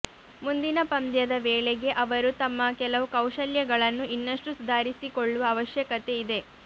ಮುಂದಿನ ಪಂದ್ಯದ ವೇಳೆಗೆ ಅವರು ತಮ್ಮ ಕೆಲವು ಕೌಶಲ್ಯಗಳನ್ನು ಇನ್ನಷ್ಟು ಸುಧಾರಿಸಿಕೊಳ್ಳುವ ಅವಶ್ಯಕತೆ ಇದೆ